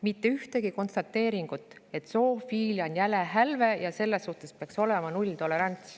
Mitte ühtegi konstateeringut, et zoofiilia on jäle hälve ja selle suhtes peaks olema nulltolerants.